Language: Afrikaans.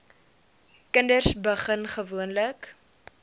kinders begin gewoonlik